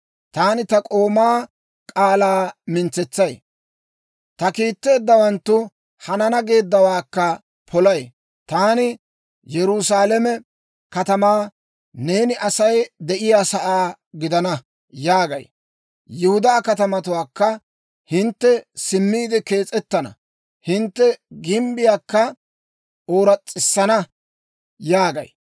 Taani ta k'oomaa k'aalaa mintsetsay; ta kiitteeddawanttu hanana geeddawaakka polay. Taani Yerusaalame katamaa, ‹Neeni Asay de'iyaasaa gidana› yaagay; Yihudaa katamatuwaakka, ‹Hintte simmiide kees'ettana; hintte gimbbiyaakka ooras's'isana› yaagay.